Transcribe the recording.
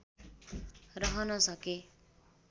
रहन सके